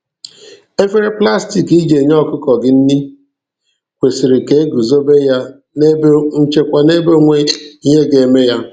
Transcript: Efere plastik i ji enye ọkụkọ gị nri kwesịrị ka eguzober ya n'ebe nchekwa na-ebe o nweghi ihe ga-eme ya.